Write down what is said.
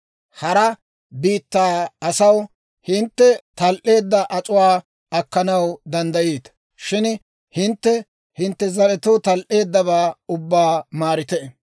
Hara biittaa asaw hintte tal"eedda ac'uwaa akkanaw danddayiita; shin hintte hintte zaretoo tal"eeddabaa ubbaa maarite.